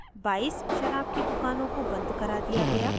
22 शराब की दुकानों को बंद करा दिया गया